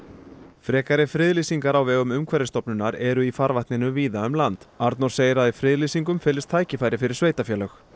frekari friðlýsingar á vegum Umhverfisstofnunar eru í farvatninu víða um land Arnór segir að í friðlýsingum felist tækifæri fyrir sveitarfélög